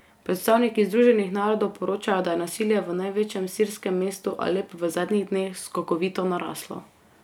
Predstavniki Združenih narodov poročajo, da je nasilje v največjem sirskem mestu Alep v zadnjih dneh skokovito naraslo.